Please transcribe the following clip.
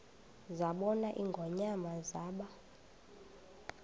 zabona ingonyama zaba